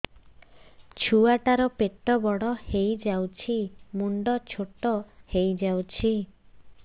ଛୁଆ ଟା ର ପେଟ ବଡ ହେଇଯାଉଛି ମୁଣ୍ଡ ଛୋଟ ହେଇଯାଉଛି